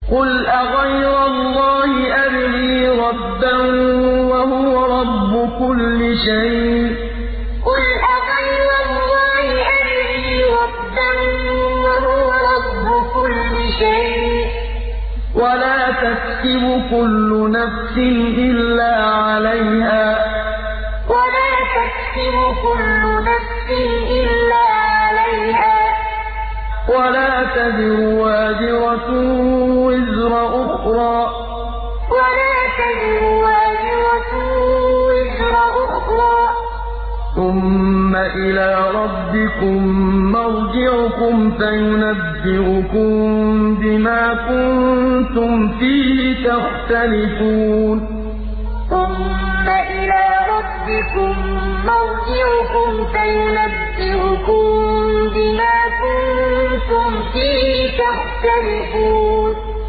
قُلْ أَغَيْرَ اللَّهِ أَبْغِي رَبًّا وَهُوَ رَبُّ كُلِّ شَيْءٍ ۚ وَلَا تَكْسِبُ كُلُّ نَفْسٍ إِلَّا عَلَيْهَا ۚ وَلَا تَزِرُ وَازِرَةٌ وِزْرَ أُخْرَىٰ ۚ ثُمَّ إِلَىٰ رَبِّكُم مَّرْجِعُكُمْ فَيُنَبِّئُكُم بِمَا كُنتُمْ فِيهِ تَخْتَلِفُونَ قُلْ أَغَيْرَ اللَّهِ أَبْغِي رَبًّا وَهُوَ رَبُّ كُلِّ شَيْءٍ ۚ وَلَا تَكْسِبُ كُلُّ نَفْسٍ إِلَّا عَلَيْهَا ۚ وَلَا تَزِرُ وَازِرَةٌ وِزْرَ أُخْرَىٰ ۚ ثُمَّ إِلَىٰ رَبِّكُم مَّرْجِعُكُمْ فَيُنَبِّئُكُم بِمَا كُنتُمْ فِيهِ تَخْتَلِفُونَ